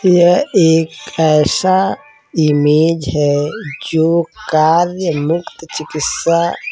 यह एक ऐसा ईमेज है जो कार्य मुक्त चिकित्सा --